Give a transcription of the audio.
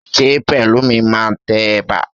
Ṣé Pẹ̀lúmi máa tẹ ẹ̀bà?